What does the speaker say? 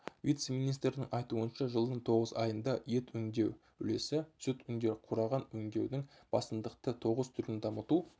вице-министрдің айтуынша жылдың тоғыз айында ет өңдеу үлесі сүт өңдеу құраған өңдеудің басымдықты тоғыз түрін дамыту